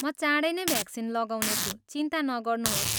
म चाँडै नै भ्याक्सिन लगाउनेछु, चिन्ता नगर्नुहोस्।